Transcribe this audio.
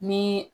Ni